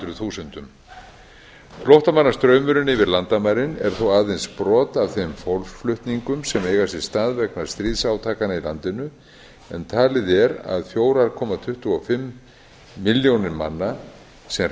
þremur hundruð þúsundum flóttamannastraumurinn yfir landamærin er þó aðeins brot af þeim fólksflutningum sem eiga sér stað vegna stríðsátakanna í landinu en talið er að fjórar komma tuttugu og fimm milljónir manna sem